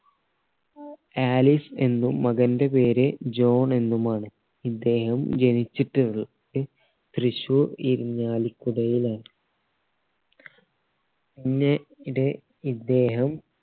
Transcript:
Alice എന്നും മകന്റെ പേര് ജോൺ എന്നും ആണ് ഇദ്ദേഹം ജെനിച്ചിട്ടുള്ളത് തൃശ്ശൂർ ഇരിഞ്ഞാലികുടയിലാണ് മുന്നേ ഇടെ ഇദ്ദേഹം